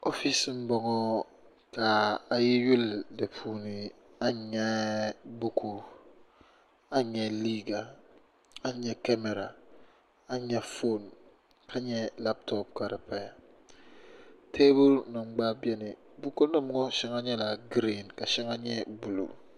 oofis n bɔŋɔ ka a yi yuli di puuni a ni nyɛ buku a ni nyɛ liiga a ni nyɛ kamɛra a ni nyɛ foon ka nyɛ labtop ka di paya teebuli nim gba biɛni buku nim ŋɔ shɛŋa nyɛla giriin ka shɛŋa nyɛ buluu